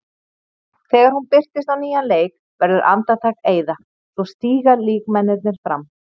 Þegar hún birtist á nýjan leik verður andartak eyða, svo stíga líkmennirnir fram.